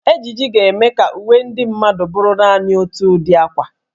Ejiji ga-eme ka uwe ndị mmadụ bụrụ naanị otu ụdị akwa.